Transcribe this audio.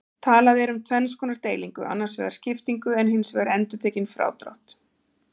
Talað er um tvenns konar deilingu, annars vegar skiptingu en hins vegar endurtekinn frádrátt.